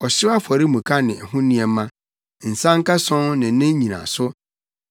ɔhyew afɔremuka ne ho nneɛma, nsankason ne ne nnyinaso;